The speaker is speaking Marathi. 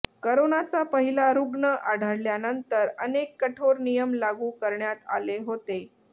करोनाचा पहिला रुग्ण आढळल्यानंतर अनेक कठोर नियम लागू करण्यात आले होते